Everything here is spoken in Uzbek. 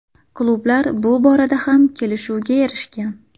Klublar bu borada ham kelishuvga erishgan.